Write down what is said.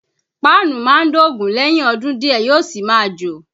Páànù máa ń dògún lẹ́yìn ọdún díẹ̀ yóò sì máa jò